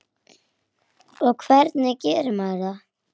Og hvernig gerir maður það?